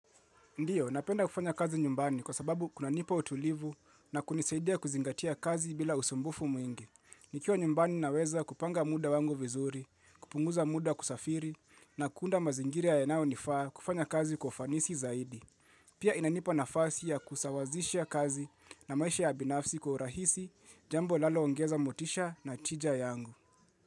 Ndiyo, napenda kufanya kazi nyumbani kwa sababu kunanipa utulivu na kunisaidia kuzingatia kazi bila usumbufu mwingi. Nikiwa nyumbani naweza kupanga muda wangu vizuri, kupunguza muda kusafiri, na kuunda mazingiri yanayo nifaa kufanya kazi kwa ufanisi zaidi. Pia inanipa nafasi ya kusawazisha kazi na maisha ya binafsi kwa urahisi jambo linalo ongeza motisha na tija yangu.